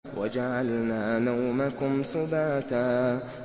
وَجَعَلْنَا نَوْمَكُمْ سُبَاتًا